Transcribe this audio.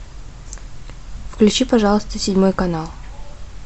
включи пожалуйста седьмой канал